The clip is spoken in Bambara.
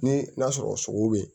Ni n'a sɔrɔ sogow be yen